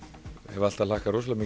hef alltaf hlakkað rosalega